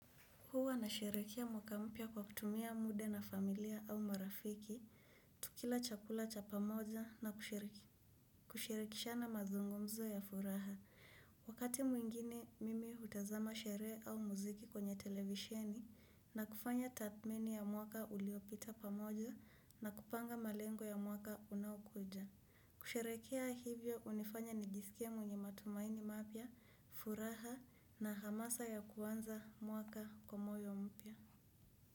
Huwa nasherehekea mwaka mpya kwa kutumia muda na familia au marafiki. Tukila chakula cha pamoja na kushirikishana mazungumzo ya furaha. Wakati mwingine, mimi hutazama sherehe au muziki kwenye televisheni na kufanya tathmini ya mwaka uliopita pamoja na kupanga malengo ya mwaka unaokuja. Kusherehekea hivyo hunifanya nijisikie mwenye matumaini mapya, furaha na hamasa ya kuanza mwaka kwa moyo mpya.